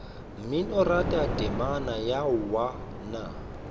mminoratho temana ya aowa nna